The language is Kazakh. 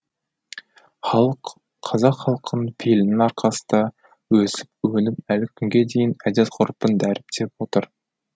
халық қазақ халқының пейілінің арқасында өсіп өніп әлі күнге дейін әдет ғұрпын дәріптеп отыр